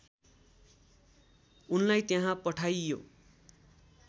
उनलाई त्यहाँ पठाइयो